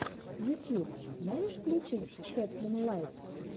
ютьюб можешь включить кэтлин лайтс